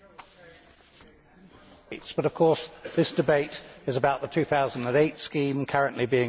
Madam President, this debate is about the 2008 scheme currently being reviewed.